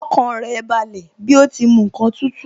Ọkàn rẹ̀ balẹ̀ bí ó ti mu ǹkan tútù